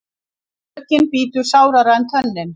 Sökin bítur sárara en tönnin.